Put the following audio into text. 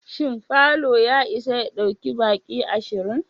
Shin falo ya isa ya ɗauki baki ashirin?